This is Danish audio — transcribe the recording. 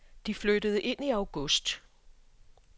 De flyttede ind i august.